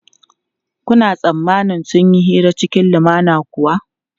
Kuna tsammanin sun yi hira cikin lumana kuwa?